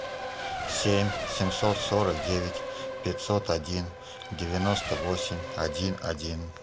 семь семьсот сорок девять пятьсот один девяносто восемь один один